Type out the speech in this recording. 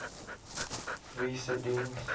wie se diens